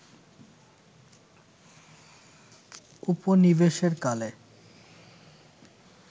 উপনিবেশের কালে